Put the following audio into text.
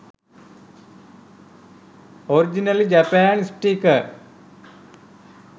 originally japan sticker